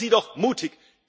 Seien Sie doch mutig!